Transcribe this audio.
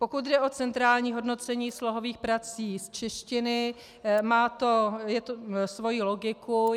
Pokud jde o centrální hodnocení slohových prací z češtiny, má to svoji logiku.